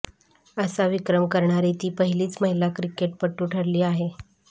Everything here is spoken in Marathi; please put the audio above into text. असा विक्रम करणारी ती पहिलीच महिला क्रिकेटपटू ठरली आहे